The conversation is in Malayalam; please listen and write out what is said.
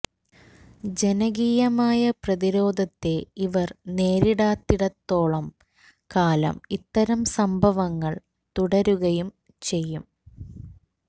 ജനകീയമായ പ്രതിരോധത്തെ ഇവർ നേരിടാത്തി ടത്തോളം കാലം ഇത്തരം സംഭവങ്ങൾ തുടരുകയും ചെയ്യും